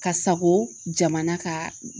Ka sago jamana ka